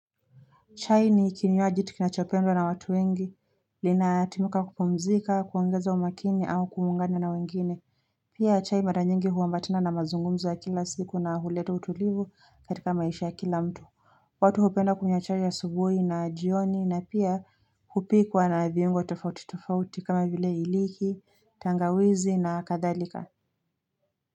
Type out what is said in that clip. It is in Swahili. Chai ni kinywaji tu kinachopendwa na watu wengi, linatimuka kupumzika, kuongeza umakini au kuungana na wengine, pia chai mara nyingi huambatana na mazungumzo ya kila siku na huletu utulivu katika maisha ya kila mtu. Watu hupenda kunywa chai asubuhi na jioni na pia hupikwa na viungo tofauti tofauti kama vile iliki, tangawizi na kadhalika.